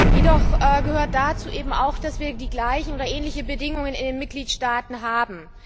Jedoch gehört dazu eben auch, dass wir die gleichen oder ähnliche Bedingungen in den Mitgliedstaaten haben.